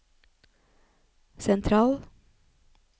sentral